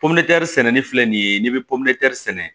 sɛnɛni filɛ nin ye n'i bɛ pori sɛnɛ